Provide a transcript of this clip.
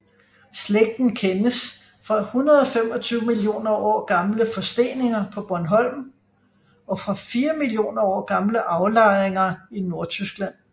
Slægten kendes fra 125 millioner år gamle forsteninger på Bornholm og fra 4 millioner år gamle aflejninger i Nordtyskland